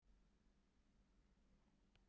Kyssi hana á vangann.